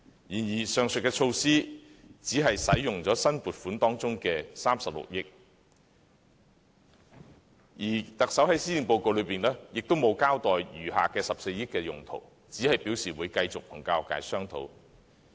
然而，上述措施只運用了新撥款中的36億元，而特首在施政報告中，也沒有交代餘下14億元的用途，只是表示會繼續與教育界商討。